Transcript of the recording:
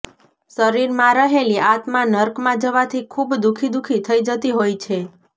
શરીરમાં રહેલી આત્મા નર્કમાં જવાથી ખૂબ દુઃખી દુઃખી થઈ જતી હોય છે